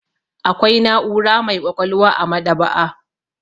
Akwai na'ura mai ƙwaƙwalwa a maɗ'aba'a.